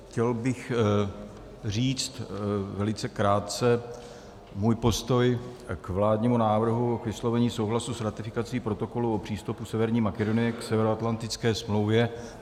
Chtěl bych říct velice krátce svůj postoj k vládnímu návrhu k vyslovení souhlasu s ratifikací Protokolu o přístupu Severní Makedonie k Severoatlantické smlouvě.